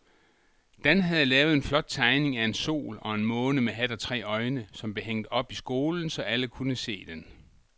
Dan havde lavet en flot tegning af en sol og en måne med hat og tre øjne, som blev hængt op i skolen, så alle kunne se den.